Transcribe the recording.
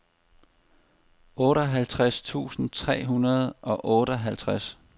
otteoghalvtreds tusind tre hundrede og otteoghalvtreds